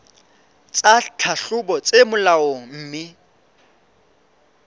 tsa tlhahlobo tse molaong mme